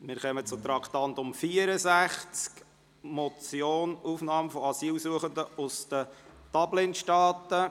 Wir kommen zum Traktandum 64, der Motion «Aufnahme von Asylsuchenden aus den Dublin-Staaten».